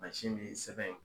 min ye sɛbɛ ye.